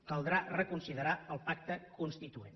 caldrà reconsiderar el pacte constituent